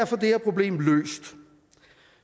få det her problem